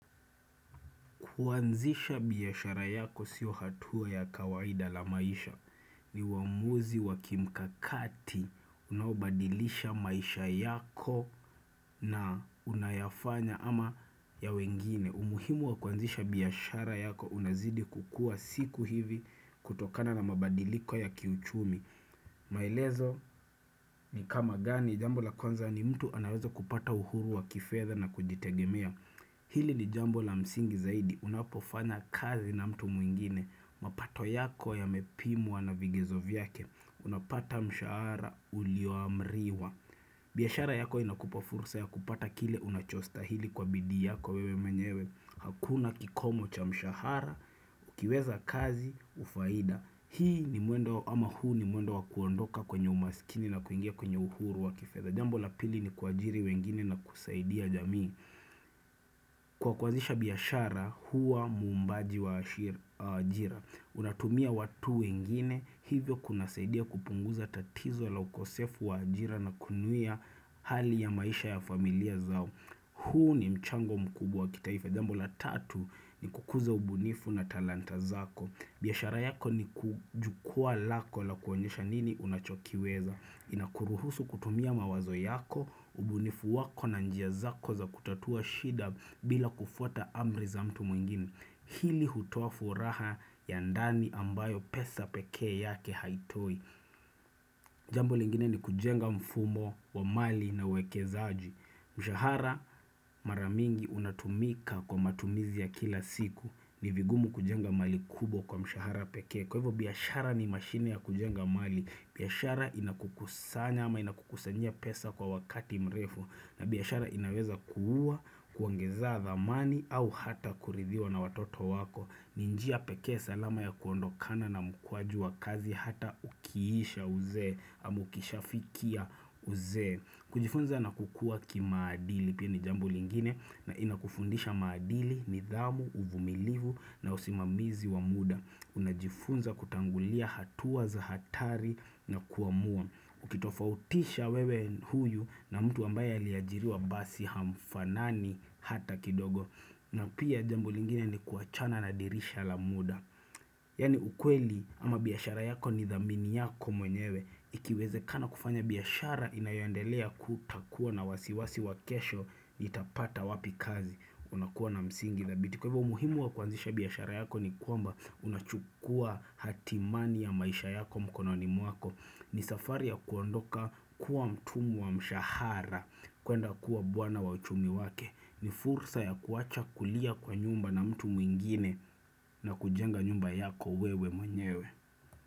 Kuanzisha biashara yako sio hatua ya kawaida la maisha. Ni wamuzi wa kimkakati unaobadilisha maisha yako na unayafanya ama ya wengine. Umuhimu wa kuanzisha biashara yako unazidi kukua siku hivi kutokana na mabadiliko ya kiuchumi. Maelezo ni kama gani jambo la kwanza ni mtu anawezo kupata uhuru wa kifedha na kujitegemea Hili ni jambo la msingi zaidi Unapofana kazi na mtu mwingine mapato yako ya mepimwa na vigizo vyake Unapata mshahara ulioamriwa biashara yako inakupa fursa ya kupata kile unachostahili kwa bidi yako wewe menyewe Hakuna kikomo cha mshahara Ukiweza kazi ufaida Hii ni muendo ama huu ni muendo wakuondoka kwenye umasikini na kuingia kwenye uhuru wa kifedha Jambo la pili ni kwa ajiri wengine na kusaidia jamii Kwa kwanzisha biashara hua mumbaji wa ajira Unatumia watu wengine hivyo kuna saidia kupunguza tatizo la ukosefu wa ajira na kunuia hali ya maisha ya familia zao huu ni mchango mkubwa wa kitaifa Jambo la tatu ni kukuza ubunifu na talanta zako biashara yako ni kujukua lako la kuonyesha nini unachokiweza. Inakuruhusu kutumia mawazo yako, ubunifu wako na njia zako za kutatua shida bila kufuta amri za mtu mwingini. Hili hutofu raha ya ndani ambayo pesa peke yake haitoi. Jambo lingine ni kujenga mfumo wa mali na wekezaji. Mshahara maramingi unatumika kwa matumizi ya kila siku. Ni vingumu kujenga mali kubwa kwa mshahara peke Kwa hivyo biashara ni mashine ya kujenga mali biashara inakukusanya ama inakukusanyia pesa kwa wakati mrefu na biashara inaweza kuuwa, kuangeza dhamani au hata kuridhiwa na watoto wako ni njia peke salama ya kuondokana na mkwaju wa kazi hata ukiisha uzee Amukisha fikia uzee kujifunza na kukua kimaadili pia ni jambo lingine na inakufundisha maadili, nidhamu, uvumilivu na usimamizi wa muda Unajifunza kutangulia hatuwa za hatari na kuamua Ukitofautisha wewe huyu na mtu ambae aliajiriwa basi hamfanani hata kidogo na pia jambo lingine ni kuachana na dirisha la muda Yani ukweli ama biyashara yako ni dhamini yako mwenyewe Ikiweze kana kufanya biashara inayondelea kutakuwa na wasiwasi wakesho itapata wapi kazi Unakuwa na msingi Kwa hivyo umuhimu wa kuanzisha biyashara yako ni kwamba unachukua hatimani ya maisha yako mkono ni mwako ni safari ya kuondoka kuwa mtumu wa mshahara kuenda kuwa bwana wa uchumi wake ni fursa ya kuacha kulia kwa nyumba na mtu mwingine na kujenga nyumba yako wewe mwenyewe.